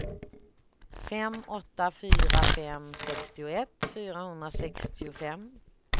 fem åtta fyra fem sextioett fyrahundrasextiofem